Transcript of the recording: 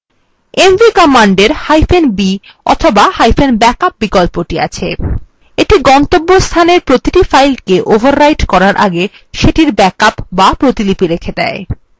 mv command এরb অথবাব্যাকআপ বিকল্পটি আছে এটি গন্তব্যস্থানের প্রতিটি file overwrite করার আগে সেটির ব্যাকআপ b প্রতিলিপি রেখে দেয়